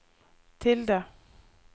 tilde